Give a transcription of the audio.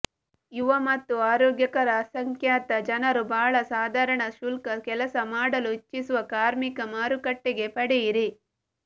ಯುವ ಮತ್ತು ಆರೋಗ್ಯಕರ ಅಸಂಖ್ಯಾತ ಜನರು ಬಹಳ ಸಾಧಾರಣ ಶುಲ್ಕ ಕೆಲಸ ಮಾಡಲು ಇಚ್ಛಿಸುವ ಕಾರ್ಮಿಕ ಮಾರುಕಟ್ಟೆಗೆ ಪಡೆಯಿರಿ